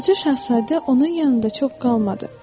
Balaca şahzadə onun yanında çox qalmadı.